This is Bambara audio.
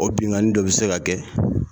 O binnlkanni dɔ bɛ se ka kɛ